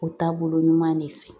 O taabolo ɲuman de fɛ